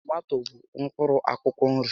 Tomato bụ mkpụrụ akwụkwọ nri